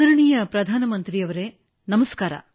ಆದರಣೀಯ ಪ್ರಧಾನಮಂತ್ರಿಯವರೇ ನಮಸ್ಕಾರ